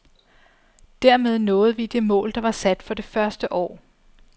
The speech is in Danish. Dermed nåede vi det mål, der var sat for det første år.